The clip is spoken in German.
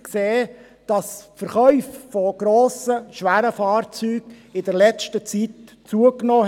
Gemäss dieser haben die Verkäufe von grossen, schweren Fahrzeugen in der letzten Zeit zugenommen.